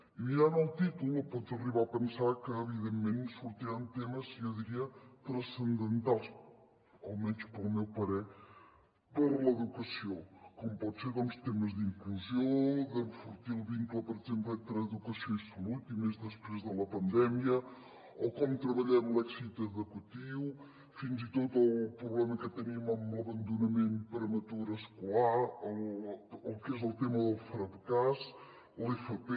i mirant el títol pots arribar a pensar que evident·ment sortiran temes jo diria transcendentals almenys al meu parer per a l’educa·ció com poden ser doncs temes d’inclusió d’enfortir el vincle per exemple entre educació i salut i més després de la pandèmia o com treballem l’èxit educatiu fins i tot el problema que tenim amb l’abandonament prematur escolar el que és el tema del fracàs l’fp